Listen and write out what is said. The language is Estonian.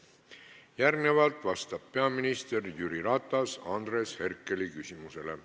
Järgmisena vastab peaminister Jüri Ratas Andres Herkeli küsimusele.